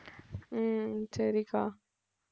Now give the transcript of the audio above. உம் சரி அக்கா